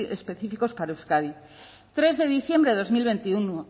específicos para euskadi tres de diciembre de dos mil veintiuno